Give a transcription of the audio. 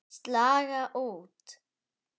Slaga út.